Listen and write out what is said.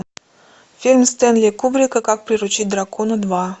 фильм стэнли кубрика как приручить дракона два